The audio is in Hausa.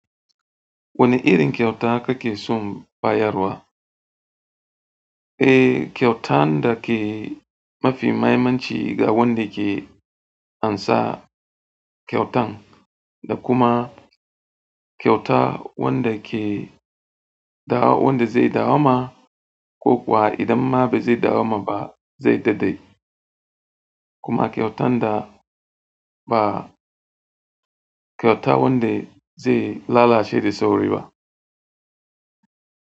Wane irin kyauta kake son bayarwa? Eh, kyautan da ke mafi mahimmanci ga wanda ke ansa kyautan da kuma kyauta wanda ke da wanda zai dawo ma. Ko kuwa idan ma bai zai dawo ma ba zai daɗe. Kuma kyautan da ba kyauta wanda zai lalace da sauri ba.